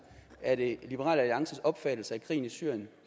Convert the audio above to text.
er det liberal alliances opfattelse at krigen i syrien